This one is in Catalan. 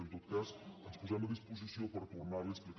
en tot cas ens posem a disposició per tornar l’hi a explicar